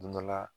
Don dɔ la